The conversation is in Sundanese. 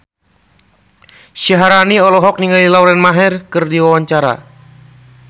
Syaharani olohok ningali Lauren Maher keur diwawancara